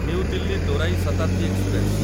new Delhi ଦୋରାଇ Shatabdi express